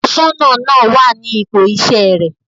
Aṣọ́nà náà wà ní ipò iṣẹ́ rẹ̀.